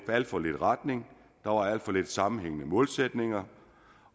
alt for lidt retning der var alt for lidt sammenhængende målsætninger